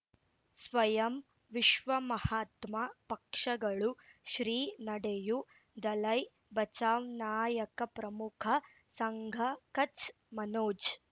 ಸ್ವಯಂ ವಿಶ್ವ ಮಹಾತ್ಮ ಪಕ್ಷಗಳು ಶ್ರೀ ನಡೆಯೂ ದಲೈ ಬಚೌ ನಾಯಕ ಪ್ರಮುಖ ಸಂಘ ಕಚ್ ಮನೋಜ್